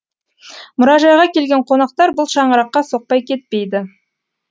мұражайға келген қонақтар бұл шаңыраққа соқпай кетпейді